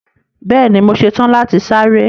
Bẹẹni, mọ sẹ́tan láti sárẹ̀.